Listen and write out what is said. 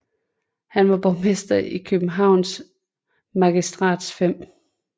Han var borgmester for Københavns Magistrats 5